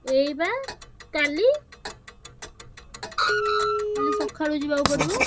ଏଇବା କାଲି। କାଲି ସକାଳୁ ଯିବାକୁ ପଡିବ।